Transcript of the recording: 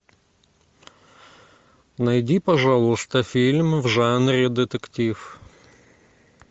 найди пожалуйста фильм в жанре детектив